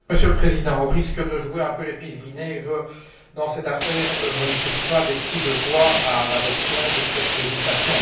Monsieur le Président, au risque de jouer un peu les pisse vinaigre dans cette affaire, je ne pousse pas des cris de joie à l'adoption de cette législation.